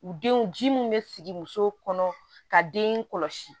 U denw ji mun bɛ sigi muso kɔnɔ ka den kɔlɔsi